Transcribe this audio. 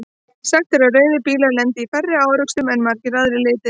Sagt er að rauðir bílar lendi í færri árekstrum en margir aðrir litir.